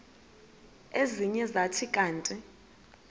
ezinye zathi kanti